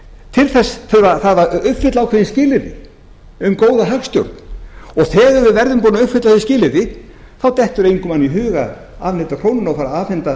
til þess þarf að uppfylla ákveðin skilyrði um góða hagstjórn og þegar við verðum búnir að uppfylla þau skilyrði þá dettur engum manni í hug að afneita krónunni og afneita evrópusambandinu ef það